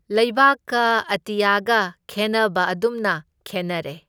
ꯂꯩꯕꯥꯛꯀ ꯑꯇꯤꯌꯥꯒ ꯈꯦꯟꯅꯕ ꯑꯗꯨꯝꯅ ꯈꯦꯟꯅꯔꯦ꯫